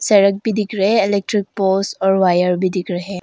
सड़क भी दिख रहे इलेक्ट्रिक पोल्स और वायर भी दिख रहे है।